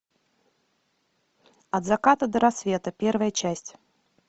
от заката до рассвета первая часть